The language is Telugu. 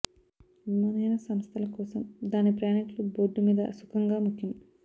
విమానయాన సంస్థలు కోసం దాని ప్రయాణికులు బోర్డు మీద సుఖంగా ముఖ్యం